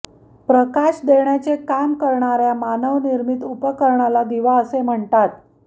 प्रकाश देण्याचे काम करणार्या मानवनिर्मित उपकरणाला दिवा असे म्हणतात